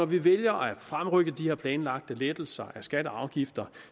vi vælger at fremrykke de her planlagte lettelser af skatter og afgifter